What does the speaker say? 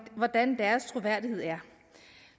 hvordan deres troværdighed er